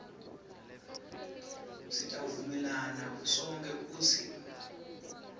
sitawuvumelana sonkhe kutsi